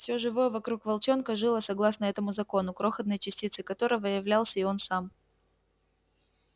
всё живое вокруг волчонка жило согласно этому закону крохотной частицей которого являлся и он сам